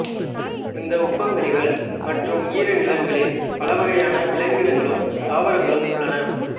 இந்த உப்பங்கழிகள் மற்றும் ஈரநிலங்களில் பலவகையான விலங்கினங்களும் தாவரங்களும் உள்ளன